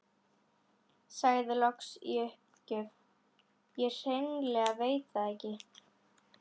Sagði loks í uppgjöf: Ég hreinlega veit það ekki